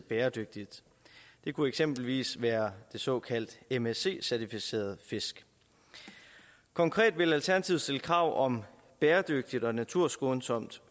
bæredygtigt det kunne eksempelvis være de såkaldt msc certificerede fisk konkret vil alternativet stille krav om bæredygtigt og naturskånsomt